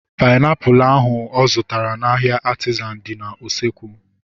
Painiapulu ahu ọ zụtara n'ahia Artizan dị n'usekwu